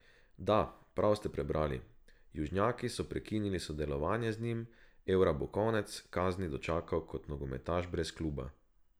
Da, prav ste prebrali, južnjaki so prekinili sodelovanje z njim, Evra bo konec kazni dočakal kot nogometaš brez kluba.